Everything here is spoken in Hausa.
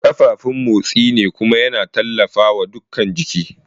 Ƙafafun motsi ne kuma yana tallafawa dukan jiki.